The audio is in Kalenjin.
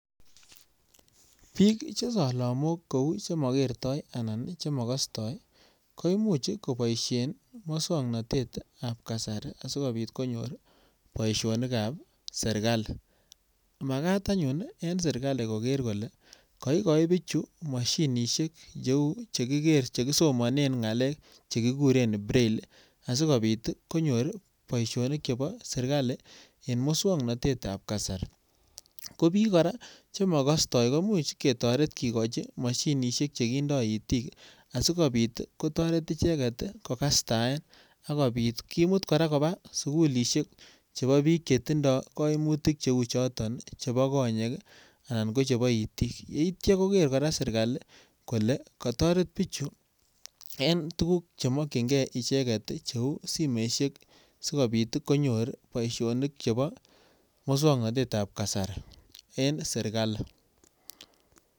Biik che solomok kou che mogertoi anan che mokostoi koimuch koboishen muswongnotet ab kasari asikpit konyor boishonik ab serikali makat anyun en serikali kolee koigochi bichu moshinishek che uu cheki ger somonen ngalek cheki guren brailli ii asikopit konyor boishonik chebo serkali en muswongnotet ab kasari, ko bik koraa che mokostoi ko imuch ketoret kigochi moshinishek che kindo itik asi kotoret icheget kogastaen akopit kimut ichegen koraa kobaa sukulishek chebo biik che tindo koimutik cheuu choton chebo konyek ii anan ko chebo itik yeityo koger koraa serkali kole koteret bichu en tugug che mogyigee icheget che uu simoishek sikopit konyor boishonik chebo muswongnotet ab kasari en serkali